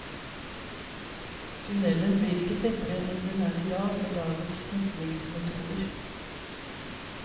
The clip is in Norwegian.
Tunnelen blir ikke tettere enn den er i dag med dagens tetningsmetoder.